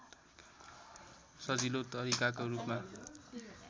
सजिलो तरिकाको रूपमा